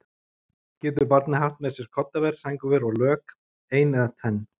Getur barnið haft með sér koddaver, sængurver og lök, ein eða tvenn?